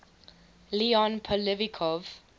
leon poliakov